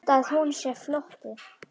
Held að hún sé flótti.